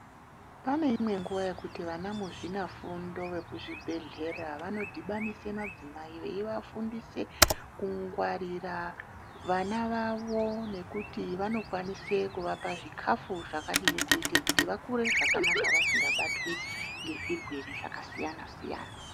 Pane imweni nguva yekuti vana mu zvina fundo ve ku zvi bhedhlera vano dhibanise madzimai vei vafundise ku ngwarira vana vavo nekuti vano kwanise kuvapa zvikafu zvakadini kuite kuti vakure zvakana vasinga batwi nge zvirwere zvaka siyana siyana